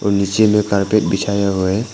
नीचे में कारपेट बिछाया हुआ है।